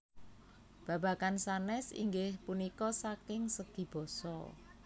Babagan sanés inggih punika saking segi basa